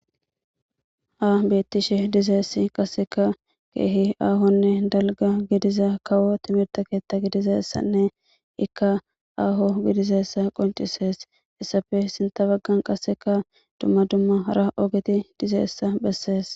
Ha beettishe diza issi qassekka keehi aahonne dalgga gidiza kawo timirta keetta gidiza issanne ikka aaho gidiza issa qoncisees. Issappe sintha baggan qasseka dumma dummara ogeti diza issa bessees.